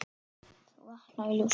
þú vaknar í ljósi.